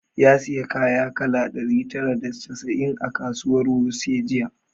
Ya sayi kaya kala ɗari tara da casa'in a kasuwar wuse jiya